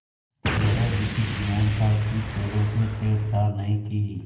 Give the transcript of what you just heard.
यह एक लिखित बयान था कि पेड़ों से छेड़छाड़ नहीं की